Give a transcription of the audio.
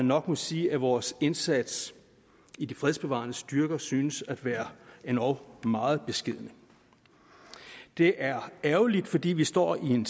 nok sige at vores indsats i de fredsbevarende styrker synes at være endog meget beskeden det er ærgerligt fordi det står i en